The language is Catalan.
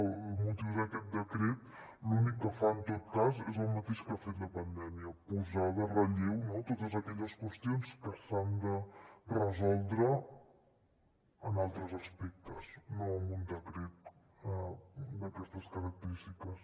el motiu d’aquest decret l’únic que fa en tot cas és el mateix que ha fet la pandèmia posar de relleu totes aquelles qüestions que s’han de resoldre en altres aspectes no amb un decret d’aquestes característiques